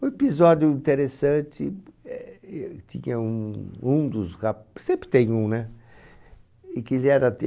O episódio interessante, é eh tinha um, um dos rap... Sempre tem um, né? E que ele era de